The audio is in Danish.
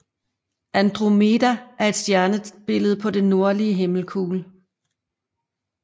Andromeda er et stjernebillede på den nordlige himmelkugle